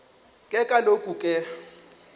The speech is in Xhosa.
ke kaloku ke